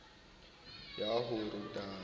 ya ho rutela ha a